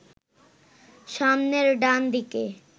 সামনের ডান দিকে